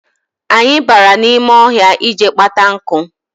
Anyị bara n'ime ọhịa ịje kpata nkụ.